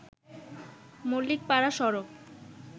মল্লিকপাড়া সড়ক